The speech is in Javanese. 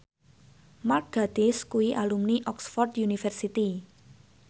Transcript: Mark Gatiss kuwi alumni Oxford university